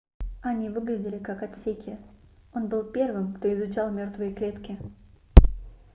они выглядели как отсеки он был первым кто изучал мёртвые клетки